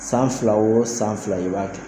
San fila o san fila i b'a kɛ